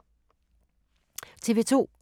TV 2